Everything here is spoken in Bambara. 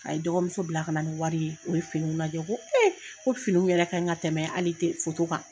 A ye dɔgɔ muso bila ka na ni wari ye o ye finiw lajɛ ko ko finiw yɛrɛ ka ɲi ka tɛmɛ hali kan.